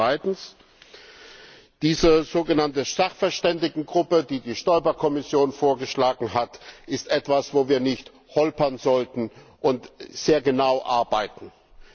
Zweitens Diese sogenannte Sachverständigengruppe, die die Stoiber Kommission vorgeschlagen hat, ist etwas, wo wir nicht holpern, sondern sehr genau arbeiten sollten.